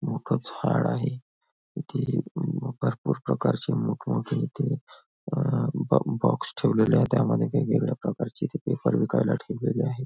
मोठं झाड आहे इथे म भरपूर प्रकारचे मोठमोठे इथे अह बॉ बॉक्स ठेवलेले आहे त्यामध्ये वेगवेगळ्या प्रकारचे ते पेपर विकायला ठेवलेले आहे.